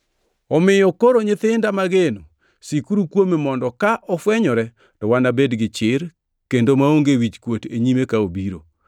Omiyo koro nyithinda mageno, sikuru kuome mondo ka ofwenyore to wabed gi chir kendo maonge wichkuot e nyime ka obiro.